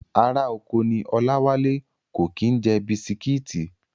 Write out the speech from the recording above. Ará oko ní Ọláwálé, kò kí ń jẹ bisitíìtì